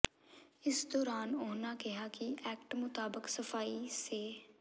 ਇਸ ਦੌਰਾਨ ਉਨ੍ਹਾਂ ਕਿਹਾ ਕਿ ਐਕਟ ਮੁਤਾਬਕ ਸਫ਼ਾਈ ਸੇ